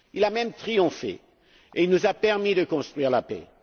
Il a même triomphé et il nous a permis de construire la paix.